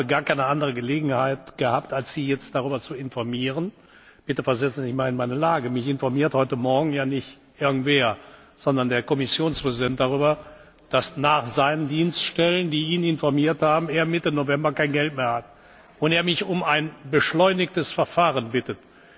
Ich habe gar keine andere Gelegenheit gehabt, als Sie jetzt darüber zu informieren. Bitte versetzen Sie sich in meine Lage Mich informiert heute Morgen ja nicht irgendwer, sondern der Kommissionspräsident, darüber, dass er laut seinen Dienststellen, die ihn informiert haben, Mitte November kein Geld mehr hat und er mich um ein beschleunigtes Verfahren bittet.